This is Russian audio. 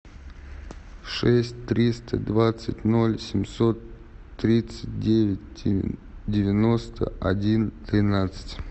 шесть триста двадцать ноль семьсот тридцать девять девяносто один тринадцать